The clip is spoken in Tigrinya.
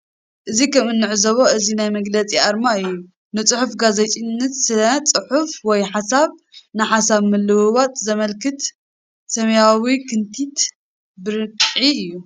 እዚ ከም እንዕዞቦ እዚ ናይ መግለጺ አርማ እዩ ።ንጽሑፍ ጋዜጠኝነት ስነ-ጽሑፍ ወይ ሓሳብ ንሓሳብ ምልውዋጥ ዜመልክት ሰማያዊ ክንቲት ብርዒ እዩ።